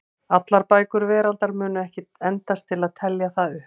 Allar bækur veraldar mundu ekki endast til að telja það upp.